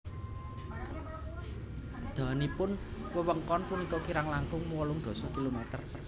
Dawanipun wewengkon punika kirang langkung wolung dasa kilometer